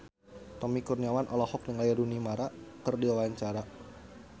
Tommy Kurniawan olohok ningali Rooney Mara keur diwawancara